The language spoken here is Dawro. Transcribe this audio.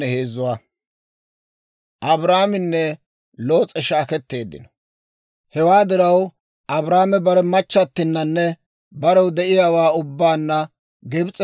Hewaa diraw Abraame bare machchattinanne, barew de'iyaawaa ubbaanna Gibs'eppe Negeeba bazzuwaa beedda; Loos'ekka aanana beedda.